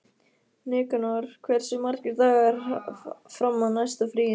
Nikanor, hversu margir dagar fram að næsta fríi?